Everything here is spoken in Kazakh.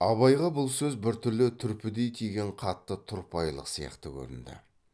абайға бұл сөз біртүрлі түрпідей тиген қатты тұрпайылық сияқты көрінді